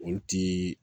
Olu ti